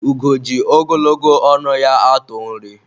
ugo ji ogologo ọnụ ya atụ nri